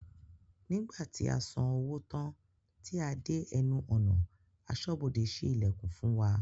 Nígbàtí a san owó tán tí a dé ẹnu ọ̀nà, asọ́bodè sí ìlẹ̀kùn fún wa